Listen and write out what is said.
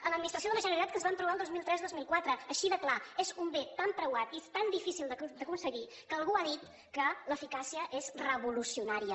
a l’administració de la generalitat que ens vam trobar el dos mil tres dos mil quatre així de clar és un bé tan preuat i és tan difícil d’aconseguir que algú ha dit que l’eficàcia és revolucionària